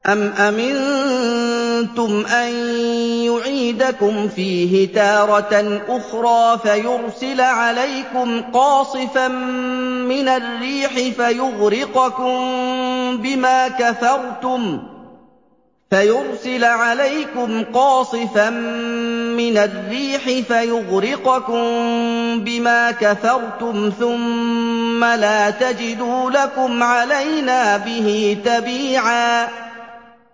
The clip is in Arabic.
أَمْ أَمِنتُمْ أَن يُعِيدَكُمْ فِيهِ تَارَةً أُخْرَىٰ فَيُرْسِلَ عَلَيْكُمْ قَاصِفًا مِّنَ الرِّيحِ فَيُغْرِقَكُم بِمَا كَفَرْتُمْ ۙ ثُمَّ لَا تَجِدُوا لَكُمْ عَلَيْنَا بِهِ تَبِيعًا